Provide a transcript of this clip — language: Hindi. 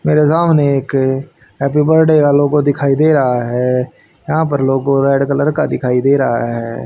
मेरे सामने एक हैप्पी बर्थडे का लोगो दिखाई दे रहा है यहां पर लोगो रेड कलर का दिखाई दे रहा है।